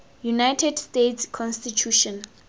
united states constitution